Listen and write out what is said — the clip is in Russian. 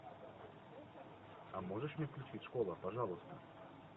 а можешь мне включить школа пожалуйста